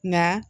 Nka